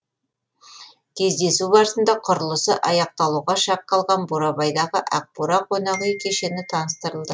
кездесу барысында құрылысы аяқталуға шақ қалған бурабайдағы ақ бура қонақүй кешені таныстырылды